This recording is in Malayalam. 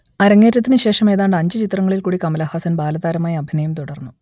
അരങ്ങേറ്റത്തിനു ശേഷം ഏതാണ്ട് അഞ്ചു ചിത്രങ്ങളിൽകൂടി കമലഹാസൻ ബാലതാരമായി അഭിനയം തുടർന്നു